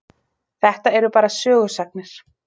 Þetta eru bara sögusagnir.